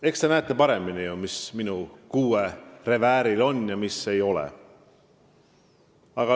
Eks teie näete paremini, mis minu kuuerevääril on ja mis ei ole.